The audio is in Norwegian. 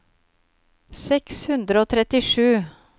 seks hundre og trettisju